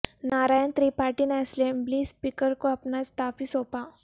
نارائن ترپاٹھی نے assembly speaker کو اپنا استعفی سونپا